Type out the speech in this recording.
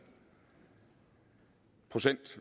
procent